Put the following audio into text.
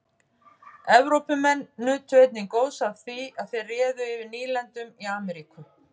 Evrópumenn nutu einnig góðs af því að þeir réðu yfir nýlendum í Ameríku.